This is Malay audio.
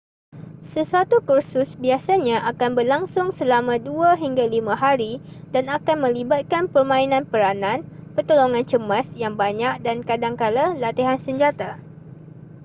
sesuatu kursus biasanya akan berlangsung selama 2-5 hari dan akan melibatkan permainan peranan pertolongan cemas yang banyak dan kadangkala latihan senjata